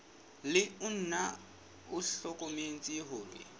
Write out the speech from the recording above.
le ona o hlokometse hore